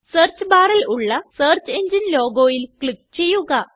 search barൽ ഉള്ള search എങ്ങിനെ logoയില് ക്ലിക്ക് ചെയ്യുക